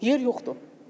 Yer yoxdur.